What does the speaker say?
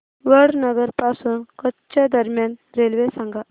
वडनगर पासून कच्छ दरम्यान रेल्वे सांगा